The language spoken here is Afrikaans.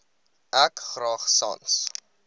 ek graag sans